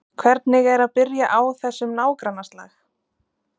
Hvernig er að byrja á þessum nágrannaslag?